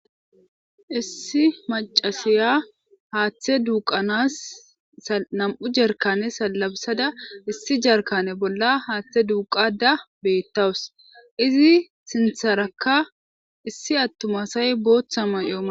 Issi maccasiya haaththe duuqqanas nam'u jarkkaane salafisada issi jarkkaane bolla haaththe duuqaadda beettawus. Izi sintharakka issi attumasay booththa may'o may.